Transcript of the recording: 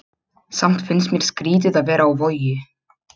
Samt fannst mér skrýtið að vera á Vogi.